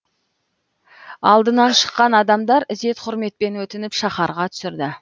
алдынан шыққан адамдар ізет құрметпен өтініп шаһарға түсірді